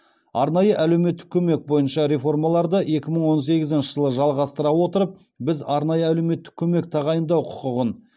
арнайы әлеуметтік көмек бойынша реформаларды екі мың он сегізінші жылы жалғастыра отырып біз арнайы әлеуметтік көмек тағайындау құқығын